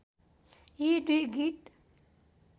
यी दुई गीत